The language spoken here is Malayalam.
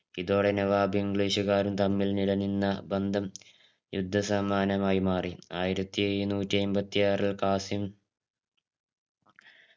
ഇതോടെ നവാബും english കാരും തമ്മിൽ നിലനിന്ന ബന്ധം യുദ്ധ സമാനമായി മാറി ആയിരത്തി എഴുന്നൂറ്റി ഐമ്പത്തിയാറിൽ കാസിം